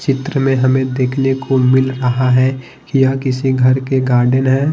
चित्र में हमें देखने को मिल रहा है कि यह किसी घर के गार्डन है।